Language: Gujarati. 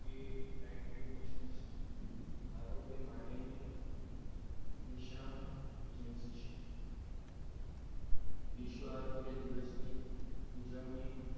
એન મિશન આરોગ્ય માટેની નિશાળ વિશાળ છે વિશ્વ આરોગ્ય દિવસની ઉજવણી